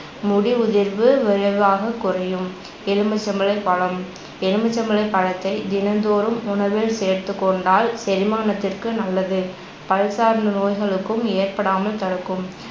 முடி உதிர்வு விரைவாகக் குறையும். எலும்புச்சம்பழப் பழம், எலும்புச்சம்பழப் பழத்தை தினம்தோறும் உணவில் சேர்த்துக்கொண்டால் செரிமானத்திற்கு நல்லது பல் சார்ந்த நோய்களுக்கும் ஏற்படாமல் தடுக்கும்